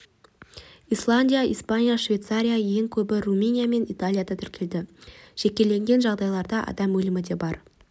исландия испания швейцария ең көбі румыния мен италияда тіркелді жекелеген жағдайларда адам өлімі де бар